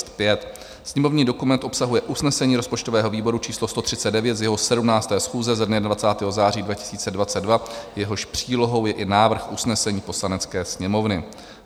Sněmovní dokument obsahuje usnesení rozpočtového výboru číslo 139 z jeho 17. schůze ze dne 20. září 2022, jehož přílohou je i návrh usnesení Poslanecké sněmovny.